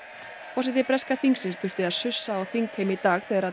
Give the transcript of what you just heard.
forseti breska þingsins þurfti að sussa á þingheim í dag þegar